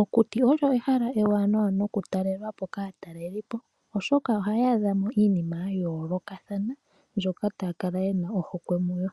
Okuti olyo ehala ewanawa nokutalelwa po kaatalelipo, oshoka ohaya adha mo iinima oyindji ya yoolokathana mbyoka taya kala ye na ohokwe mu yo.